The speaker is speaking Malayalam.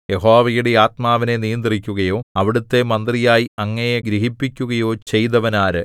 യഹോവയുടെ ആത്മാവിനെ നിയന്ത്രിക്കുകയോ അവിടുത്തെ മന്ത്രിയായി അങ്ങയെ ഗ്രഹിപ്പിക്കുകയോ ചെയ്തവനാര്